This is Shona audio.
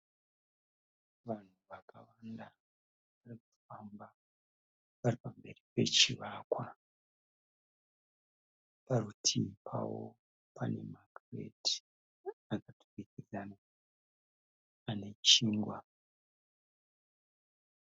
Vanhu vakawanda varikufamba varipamberi pechivakwa. Parutivi pavo panemakireti akaturikidzana anechingwa.